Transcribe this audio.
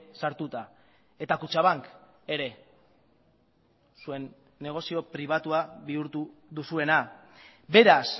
sartuta eta kutxabank ere zuen negozio pribatua bihurtu duzuena beraz